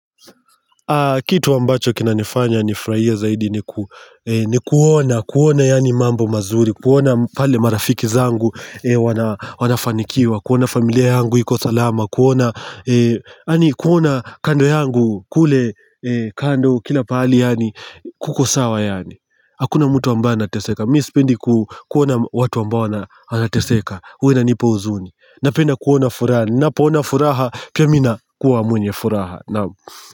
Kitu ambacho kina nifanya ni furahie zaidi ni kuona, kuona yani mambo mazuri, kuona pale marafiki zangu wanafanikiwa, kuona familia yangu iko salama, kuona kando yangu kule kando kila pali yani kukosawa yani. Hakuna mtu ambae anateseka, mimi sipendi kuona watu ambao wanateseka, huwa inanipa huzuni. Napenda kuona furaha, napo ona furaha pia mimi nakuwa mwenye furaha.